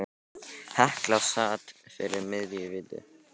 Hekla sat fyrir miðju í víti.